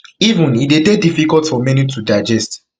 even e dey dey difficult for many to digest